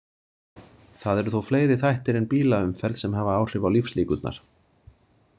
Það eru þó fleiri þættir en bílaumferð sem hafa áhrif á lífslíkurnar.